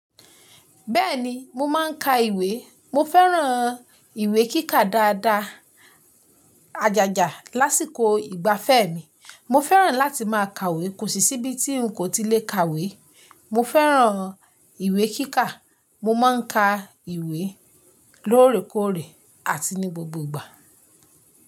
Bẹ́ẹ̀ni mo máa ń ka ìwé. Mo fẹ́ràn ìwé kíkà dáadáa, àjàjà lásìkò ìgbafẹ́ mi. Mo fẹ́ràn láti máa kàwé, kò sí si ibí tí n kò ti lè kàwé. Mo fẹ́ràn ìwé kíkà. Mo máa ń ka ìwé lóòrèkóòrè àti ní gbogbo ìgbà.